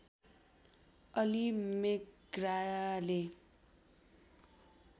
Ali MacGraw